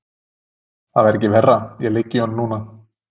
Það væri ekki verra, ég ligg í honum núna.